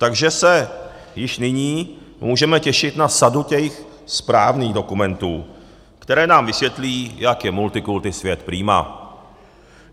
Takže se již nyní můžeme těšit na sadu těch správných dokumentů, které nám vysvětlí, jak je multikulti svět prima.